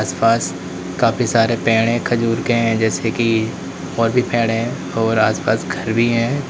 आसपास काफी सारे पेड़ है खजूर के हैं जैसे की और भी पेड़ है और आसपास घर भी हैं।